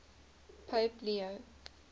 pope leo